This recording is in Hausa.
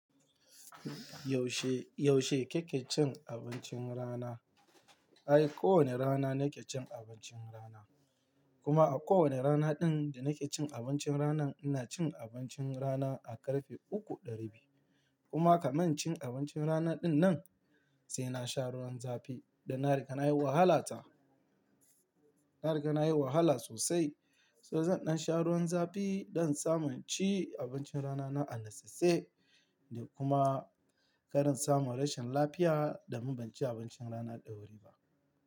Yaushe, yaushe kike cin abincin rana? Ai, kowane rana nake cin abincin rana. Kuma a kowane rana ɗin da nake cin abincin rana, ina cin abincin rana a karfe uku ɗa rabi. Kuma kamar cin abincin rana ɗin nan, sai na sha ruwan zafi da na riƙa nayi wahala ta, na riƙa nayi wahala sosai. So zan ɗan sha ruwan zafi don samun ci abincin rana na anitse da kuma kar in samun rashin lafiya da mun banci abincin rana dawuri ba.